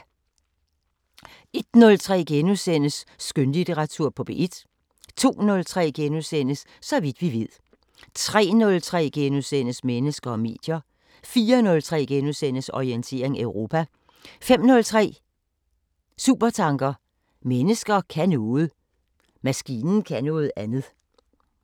01:03: Skønlitteratur på P1 * 02:03: Så vidt vi ved * 03:03: Mennesker og medier * 04:03: Orientering Europa 05:03: Supertanker: Maskinen kan noget. Jeg kan noget andet.